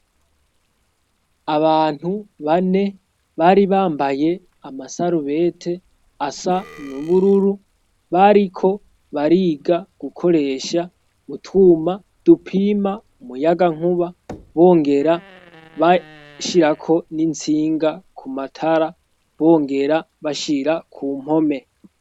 Abantu bane bari bambaye amasarubete asa n'ubururu, bariko bariga gukoresha utwuma dupima umuyagankuba bongera bashirako n'intsinga ku matara bongera bashira ku mpome.